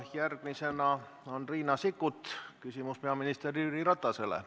Järgmisena küsib Riina Sikkut, küsimus on peaminister Jüri Ratasele.